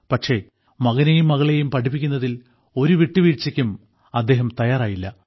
പക്ഷേ മകനെയും മകളെയും പഠിപ്പിക്കുന്നതിൽ ഒരു വിട്ടുവീഴ്ചയ്ക്കും അവർ തയ്യാറായില്ല